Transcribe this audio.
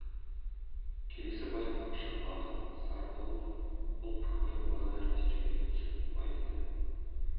келесі баяндамашы бақыт сарбалаұлы бұл пікірді одан ары тереңдете түсіп былай деді